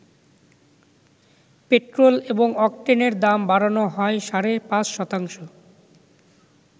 Petrol এবং অকটেনের দাম বাড়ানো হয় সাড়ে পাঁচ শতাংশ।